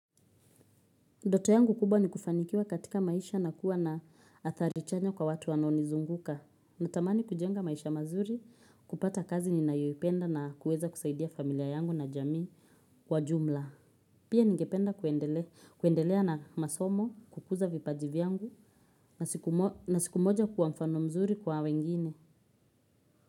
Ndote yangu kubwa ni kufanikiwa katika maisha na kuwa na athari chanya kwa watu wanao nizunguka. Natamani kujenga maisha mazuri kupata kazi ni nayoipenda na kuweza kusaidia familia yangu na jamii kwa jumla. Pia ningependa kuendelea na masomo kukuza vipaji vyangu na siku na siku moja kuwa mfano mzuri kwa wengine.